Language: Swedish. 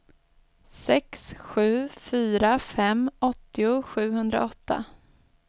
sex sju fyra fem åttio sjuhundraåtta